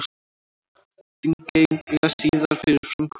Þingeyinga síðar fyrir framkomu þeirra.